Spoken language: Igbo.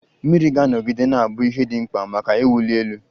Mmiri ga-anọgide na-abụ ihe dị mkpa maka iwuli elu.